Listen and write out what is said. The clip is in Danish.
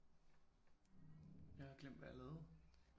Jeg har glemt hvad jeg lavede